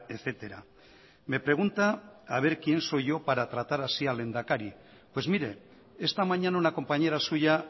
etcétera me pregunta a ver quién soy yo para tratar así al lehendakari pues mire esta mañana una compañera suya